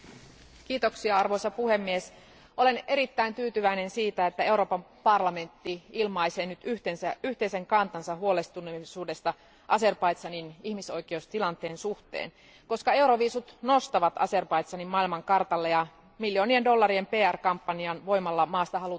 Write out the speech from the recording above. Arvoisa puhemies, olen erittäin tyytyväinen siihen, että Euroopan parlamentti ilmaisee nyt yhteisen kantansa huolestuneisuudesta Azerbaidžanin ihmisoikeustilanteen suhteen, koska euroviisut nostavat Azerbaidžanin maailmankartalle ja miljoonien dollarien PR kampanjan voimalla maasta halutaan antaa